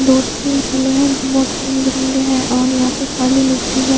दो तीन झूले है जो बहत रंग बिरंगे है और यहाँ पे काली मिटटी है।